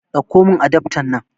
Ɗakko min adaftan nan